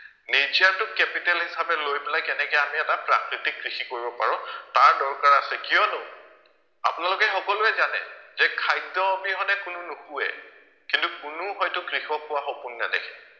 Nature টো capital হিচাপে লৈ পেলাই কেনেকে আমি এটা প্ৰাকৃতিক কৃষি কৰিব পাৰো তাৰ দৰকাৰ আছে কিয়নো আপোনালোকে সকলোৱে জানে যে খাদ্য় অবিহনে কোনো নোশোৱে কিন্তু কোনো হয়তো কৃষক হোৱাৰ সপোন নেদেখে